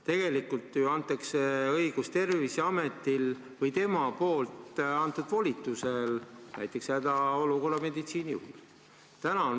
Tegelikult ju antakse õigus Terviseametile või tema volitusel näiteks hädaolukorra meditsiinijuhile.